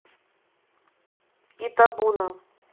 итабуна